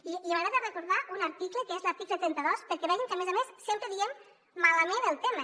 i m’agrada recordar un article que és l’article trenta dos perquè vegin que a més a més sempre diem malament el tema